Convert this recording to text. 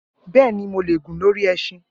Bẹẹni, Mo le gun lori ẹṣin.